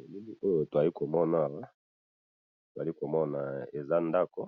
Elili oyo tozali komona awa ,tozali komona eza ndaku